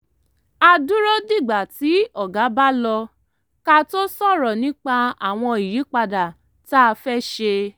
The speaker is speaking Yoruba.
a dúró dìgbà tí oga bá lọ ká tó sọ̀rọ̀ nípa àwọn ìyípadà tá a fẹ́ ṣe